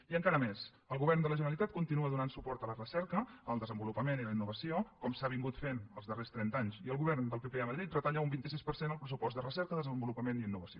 i encara més el govern de la generalitat continua donant suport a la recerca al desenvolupament i a la innovació com s’ha anat fent els darrers trenta anys i el govern del pp a madrid retalla un vint sis per cent el pressupost de recerca desenvolupament i innovació